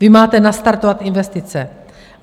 Vy máte nastartovat investice!